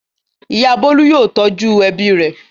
Ìyá Bólú yóò tọ́jú ẹbí rẹ̀.